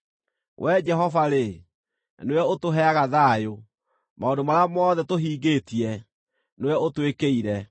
Wee Jehova-rĩ, nĩwe ũtũheaga thayũ; maũndũ marĩa mothe tũhingĩtie, nĩwe ũtwĩkĩire.